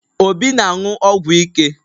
Obi na-aṅụ ọgwụ ike